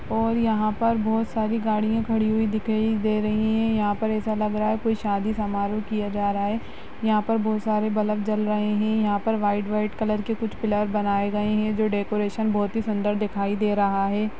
और यहाँ पर बहोत सारी गाड़ियां खड़ी हुई दिख रही दे रही है यहाँ पर ऐसा लग रहा है कोई शादी समारोह किया जा रहा है यहाँ पर बहुत सारे बल्ब जल रहे हैं यहाँ पर वाइट वाइट कलर के कुछ पिलर बनाए गए हैं जो डेकोरेशन बहुत ही सुंदर दिखाई दे रहा है।